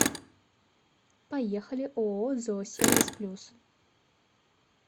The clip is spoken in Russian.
поехали ооо зоосервис плюс